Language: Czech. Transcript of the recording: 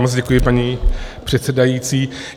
Moc děkuji, paní předsedající.